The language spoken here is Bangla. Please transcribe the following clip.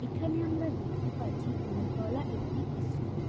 এখানে আমরা দেখতে পাচ্ছি তিনতলা একটি ইস্কুল ।